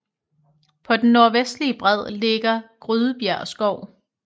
På den nordvestlige bred ligger Grydebjerg Skov